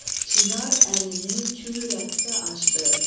Çinar əlini çü rəqsə açdı,